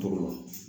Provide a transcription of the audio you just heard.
Tɔɔrɔ